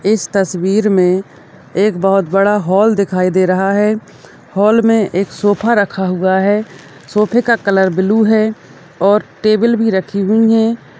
इस तस्वीर में एक बोहोत बड़ा हॉल दिखाई दे रहा है हॉल में एक सोफा रखा हुआ है सोफा का कलर ब्लू है और टेबुल भी रखी हुई हैं।